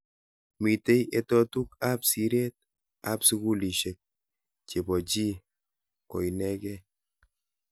Mitei etotuk ab siret ab sukulishek chebo chi koinekei.